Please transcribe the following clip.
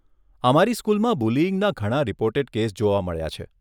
અમારી સ્કૂલમાં બુલીઈંગના ઘણા રિપોર્ટેડ કેસ જોવા મળ્યા છે.